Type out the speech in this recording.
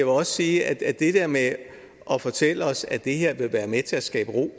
også sige at det der med at fortælle os at det her vil være med til at skabe ro